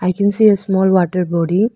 i can see a small water body.